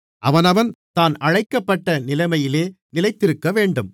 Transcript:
அவனவன் தான் அழைக்கப்பட்ட நிலைமையிலே நிலைத்திருக்கவேண்டும்